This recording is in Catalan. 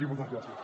i moltes gràcies